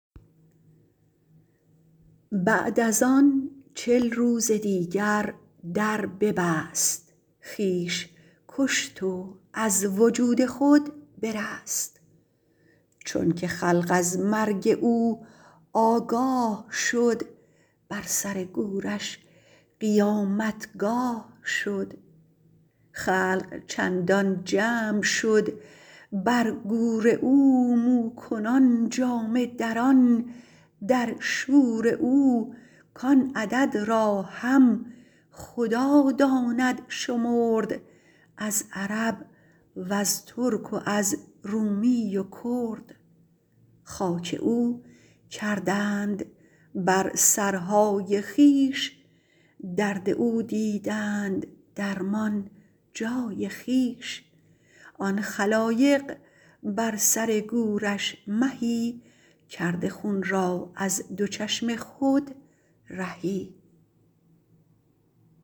بعد از آن چل روز دیگر در ببست خویش کشت و از وجود خود برست چونک خلق از مرگ او آگاه شد بر سر گورش قیامتگاه شد خلق چندان جمع شد بر گور او مو کنان جامه دران در شور او کان عدد را هم خدا داند شمرد از عرب وز ترک و از رومی و کرد خاک او کردند بر سرهای خویش درد او دیدند درمان جای خویش آن خلایق بر سر گورش مهی کرده خون را از دو چشم خود رهی